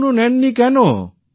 এখনো নেন নি কেন